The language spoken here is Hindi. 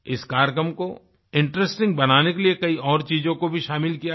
इस कार्यक्रम को इंटरेस्टिंग बनाने के लिए कई और चीजों को भी शामिल किया गया